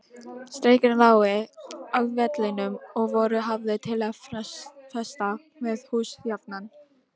Strengir lágu á vellinum og voru hafðir til að festa með hús jafnan.